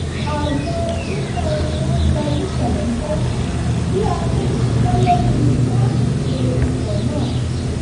ààyò irúfẹ́ orin wọn ń lọ ní jẹ̀lẹ̀ńkẹ́ bí a ṣe ń ṣiṣẹ́ lórí iṣẹ́ àkànṣe ikọ̀ náà